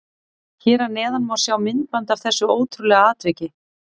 Hér að neðan má sjá myndband af þessu ótrúlega atviki.